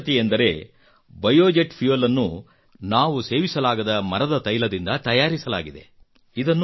ವಿಶೇಷತೆಯೆಂದರೆ biojet fuel ನ್ನು ಸೇವಿಸಲಾಗದ ಮರದ ತೈಲದಿಂದ ತಯರಿಸಲಾಗಿದೆ